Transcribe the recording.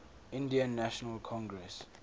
indian national congress